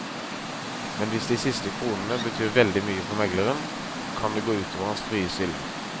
Men hvis de siste kronene betyr veldig mye for megleren, kan det gå ut over hans frie stilling.